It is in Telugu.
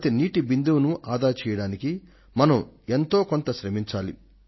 ప్రతి ఒక్క నీటి బిందువును ఆదా చేయడానికి మనం శాయశక్తుల యత్నించాలి